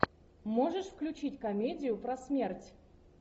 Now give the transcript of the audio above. можешь включить комедию про смерть